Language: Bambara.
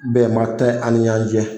Bɛn ba tɛ ani ɲɔgɔn cɛ.